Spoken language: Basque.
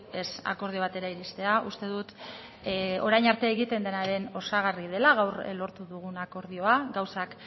ez akordio batera iristea uste dut orain arte egiten denaren osagarri dela gaur lortu dugun akordioa gauzak